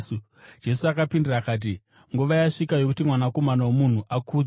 Jesu akapindura akati, “Nguva yasvika yokuti Mwanakomana woMunhu akudzwe.